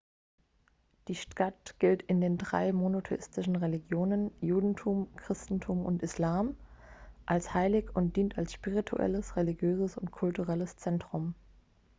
die stadt gilt in den drei monotheistischen religionen judentum christentum und islam als heilig und dient als spirituelles religiöses und kulturelles zentrum